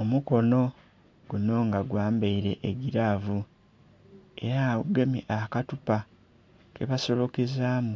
Omukono guno nga gwa mbaire egiravu era gugemye akathupa kebasolokezamu